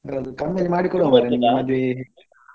ಅದು ಕಮ್ಮಿಯಲ್ಲಿ ಮಾಡಿಕೊಡುವ ಮಾರೆ ನಿಮ್ಮ ಮದುವೆ.